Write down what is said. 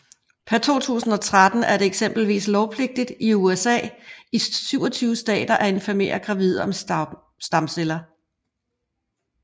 Per 2013 er det eksempelvis lovpligtigt i i USA i 27 starter at informere gravide om stamceller